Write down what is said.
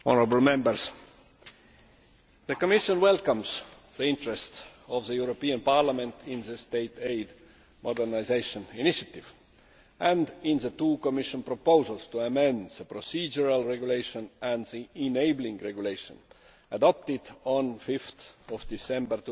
Madam President, the Commission welcomes the interest of the European Parliament in the state aid modernisation initiative and in the two Commission proposals to amend the procedural regulation and the enabling regulation adopted on 5 December